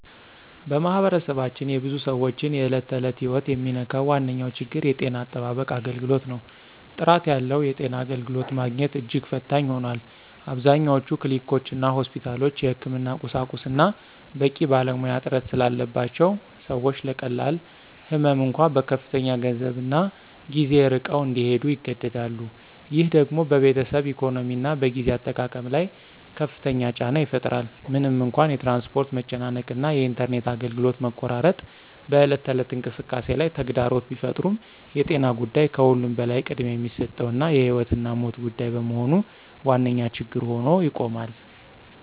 በማኅበረሰባችን የብዙ ሰዎችን የዕለት ተዕለት ሕይወት የሚነካው ዋነኛው ችግር የጤና አጠባበቅ አገልግሎት ነው። ጥራት ያለው የጤና አገልግሎት ማግኘት እጅግ ፈታኝ ሆኗል። አብዛኞቹ ክሊኒኮችና ሆስፒታሎች የሕክምና ቁሳቁስና በቂ ባለሙያ እጥረት ስላለባቸው ሰዎች ለቀላል ህመም እንኳ በከፍተኛ ገንዘብና ጊዜ ርቀው እንዲሄዱ ይገደዳሉ። ይህ ደግሞ በቤተሰብ ኢኮኖሚና በጊዜ አጠቃቀም ላይ ከፍተኛ ጫና ይፈጥራል። ምንም እንኳ የትራንስፖርት መጨናነቅ እና የኢንተርኔት አገልግሎት መቆራረጥ በዕለት ተዕለት እንቅስቃሴ ላይ ተግዳሮት ቢፈጥሩም የጤና ጉዳይ ከሁሉም በላይ ቅድሚያ የሚሰጠውና የሕይወትና ሞት ጉዳይ በመሆኑ ዋነኛ ችግር ሆኖ ይቆማል።